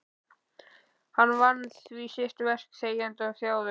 Hann vann því sitt verk þegjandi og þjáður.